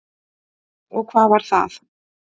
Og hvað var það?